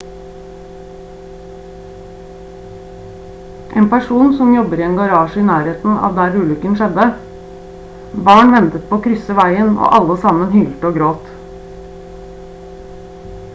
en person som jobber i en garasje i nærheten av der ulykken skjedde: «barn ventet på å krysse veien og alle sammen hylte og gråt»